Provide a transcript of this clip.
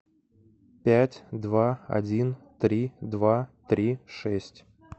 пять два один три два три шесть